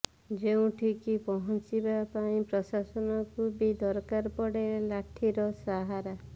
ଯେଉଁଠି କି ପହଂଚିବା ପାଇଁ ପ୍ରଶାସନକୁ ବି ଦରକାର ପଡ଼େ ଲାଠିର ସାହାରା